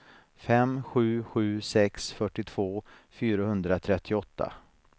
fem sju sju sex fyrtiotvå fyrahundratrettioåtta